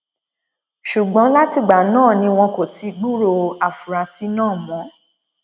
ṣùgbọn látìgbà náà ni wọn kò ti gbúròó àfúráṣí náà mọ